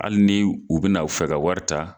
Hali ni u bɛna u fɛ ka wari ta